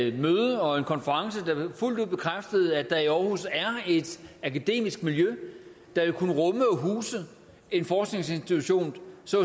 et møde og en konference der fuldt ud bekræftede at der i aarhus er et akademisk miljø der vil kunne rumme og huse en forskningsinstitution